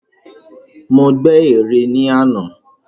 Mo gbè ère ní àná.